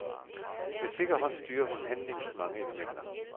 Med sikker hånd styrer hun handlingens mange elementer.